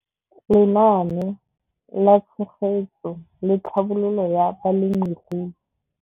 Lenaane la Tshegetso le Tlhabololo ya Balemirui.